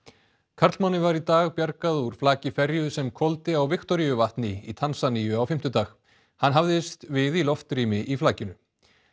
karlmanni var í dag bjargað úr flaki ferju sem hvolfdi á Viktoríuvatni í Tansaníu á fimmtudag hann hafðist við í loftrými í flakinu